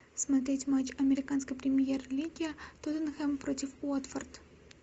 смотреть матч американской премьер лиги тоттенхэм против уотфорд